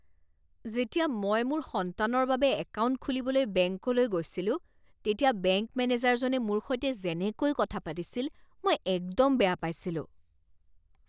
যেতিয়া মই মোৰ সন্তানৰ বাবে একাউণ্ট খুলিবলৈ বেংকলৈ গৈছিলো তেতিয়া বেংক মেনেজাৰজনে মোৰ সৈতে যেনেকৈ কথা পাতিছিল মই একদম বেয়া পাইছিলোঁ।